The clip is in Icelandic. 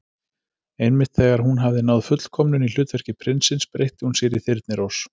Einmitt þegar hún hafði náð fullkomnun í hlutverki prinsins breytti hún sér í Þyrnirós.